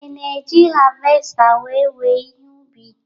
Ị ga-eji havesta wéé wèè ihe ubi?